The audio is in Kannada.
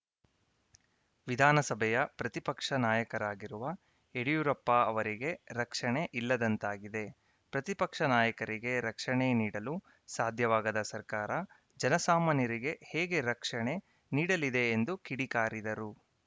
ವಿಧಾನಸಭೆಯ ಪ್ರತಿಪಕ್ಷ ನಾಯಕರಾಗಿರುವ ಯಡಿಯೂರಪ್ಪ ಅವರಿಗೆ ರಕ್ಷಣೆ ಇಲ್ಲದಂತಾಗಿದೆ ಪ್ರತಿಪಕ್ಷ ನಾಯಕರಿಗೆ ರಕ್ಷಣೆ ನೀಡಲು ಸಾಧ್ಯವಾಗದ ಸರ್ಕಾರ ಜನಸಾಮಾನ್ಯರಿಗೆ ಹೇಗೆ ರಕ್ಷಣೆ ನೀಡಲಿದೆ ಎಂದು ಕಿಡಿಕಾರಿದರು